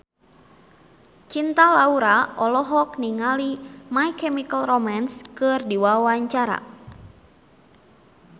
Cinta Laura olohok ningali My Chemical Romance keur diwawancara